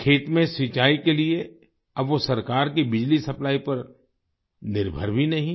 खेत में सिंचाई के लिए अब वो सरकार की बिजली सप्लाई पर निर्भर भी नहीं हैं